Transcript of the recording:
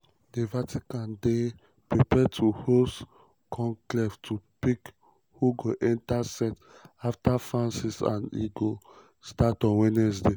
di vatican dey um prepare to host conclave to pick who go enta set um afta francis and e go start on wednesday.